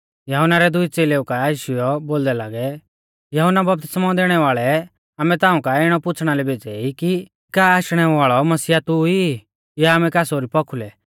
यहुन्ना रै दुई च़ेलै यीशु काऐ आशीयौ बोलदै लागै यहुन्ना बपतिस्मौ दैणै वाल़ै आमै ताऊं काऐ इणौ पुछ़णा लै भेज़ै ई कि का आशणै वाल़ौ मसीहा तू ई या आमै कास ओरी पौखुलै